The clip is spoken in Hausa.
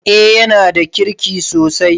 Eh yanada kirki sosai.